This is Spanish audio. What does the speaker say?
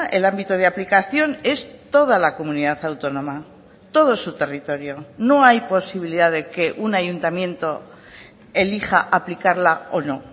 el ámbito de aplicación es toda la comunidad autónoma todo su territorio no hay posibilidad de que un ayuntamiento elija aplicarla o no